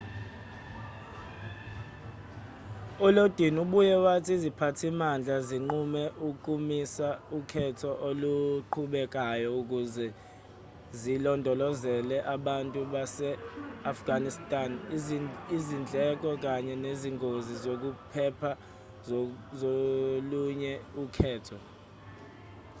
ulodin ubuye wathi iziphathimandla zinqume ukumisa ukhetho oluqhubekayo ukuze zilondolozele abantu base-afghanistan izindleko kanye nezingozi zokuphepha zolunye ukhetho